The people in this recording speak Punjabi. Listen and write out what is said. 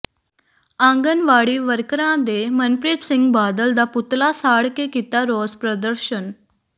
ਆਂਗਣਵਾੜੀ ਵਰਕਰਾਂ ਨੇ ਮਨਪ੍ਰੀਤ ਸਿੰਘ ਬਾਦਲ ਦਾ ਪੁਤਲਾ ਸਾੜ ਕੇ ਕੀਤਾ ਰੋਸ ਪ੍ਰਦਰਸ਼ਨ